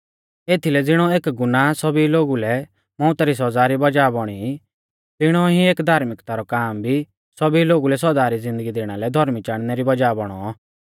एथीलै ज़िणौ एक गुनाह सौभी लोगु लै मौउता री सौज़ा री वज़ाह बौणी तिणौ ई एक धार्मिक्ता रौ काम भी सौभी लोगु लै सौदा री ज़िन्दगी दैणा लै धौर्मी चाणनै री वज़ाह बौणौ